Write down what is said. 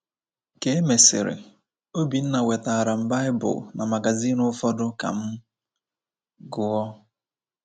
Ka e mesịrị, Obinna wetaara m Baịbụl na magazin ụfọdụ ka m gụọ.